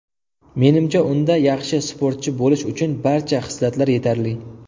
Menimcha, unda yaxshi sportchi bo‘lish uchun barcha xislatlar yetarli.